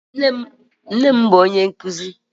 Nne m bụ ónyé nkuzi